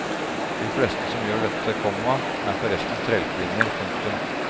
De fleste som gjør dette, komma er forresten trellkvinner. punktum